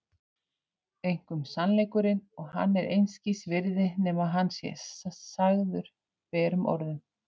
Einkum sannleikurinn, og hann er einskis virði nema að hann sé sagður berum orðum